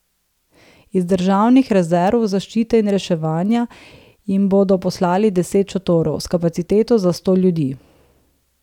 Iz državnih rezerv zaščite in reševanja jim bodo poslali deset šotorov, s kapaciteto za sto ljudi.